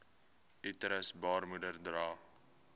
uterus baarmoeder dra